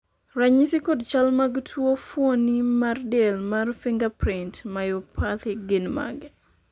ranyisi kod chal mag tuo fuoni mar del mar fingerprint myopathy gin mage?